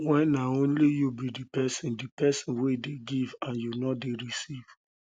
when um na um only you be di person di person wey dey give and you no dey um receive